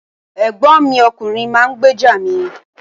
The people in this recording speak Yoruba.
Ẹ̀gbọ́n mi ọkùnrin máa ń gbèjà mi.